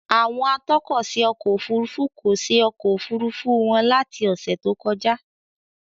Àwọn atọ́kọ̀ṣe ọkọ òfurufú kò ṣe ọkọ̀ Òfurufú wọn láti ọ́sẹ̀ tó kọjá.